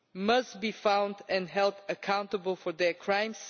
must be found and held accountable for their crimes.